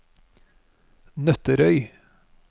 Nøtterøy